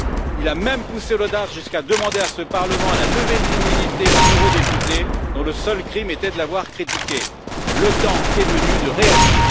Il a même poussé l'audace jusqu'à demander à ce Parlement la levée de l'immunité d'un eurodéputé dont le seul crime était de l'avoir critiqué. Le temps est venu de réagir.